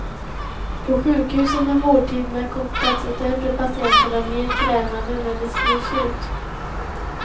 På sjukhusen har vårdtiderna kortats och därför är patienterna mer krävande när de skrivs ut.